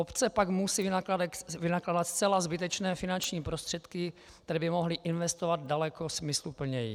Obce pak musejí vynakládat zcela zbytečné finanční prostředky, které by mohly investovat daleko smysluplněji.